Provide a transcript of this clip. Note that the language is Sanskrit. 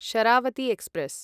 शरावती एक्स्प्रेस्